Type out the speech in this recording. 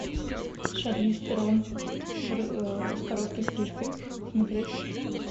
шарлиз терон с короткой стрижкой смотреть